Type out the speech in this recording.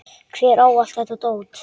Hver á allt þetta dót?